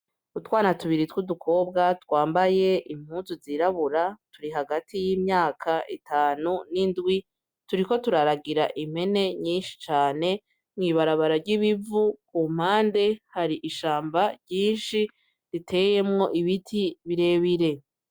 Utwana tubiri tw'udukobwa twambaye impuzu zirabura, turi hagati y'imyaka itanu n'indwi turiko turaragira impene nyinshi cane mw'ibarabara ry'ibivu. Ku mpande hari ishamba ryinshi riteyemwo ibiti birebire.